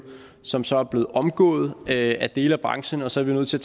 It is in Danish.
som så er blevet omgået af dele af branchen og så er vi nødt til